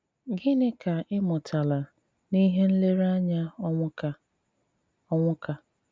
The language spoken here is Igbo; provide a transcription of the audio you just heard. Gịní ká í mụtálá n’íhé nléréányá Ónwúká? Ónwúká?